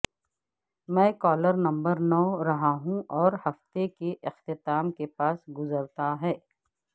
میں caller number نو رہا ہوں اور ہفتے کے اختتام کے پاس گزرتا ہے